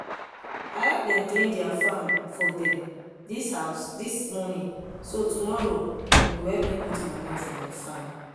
i help dem clean their farm for dem dis house this morning so tomorrow dem go help me put manure for my farm.